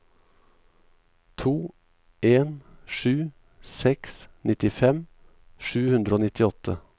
to en sju seks nittifem sju hundre og nittiåtte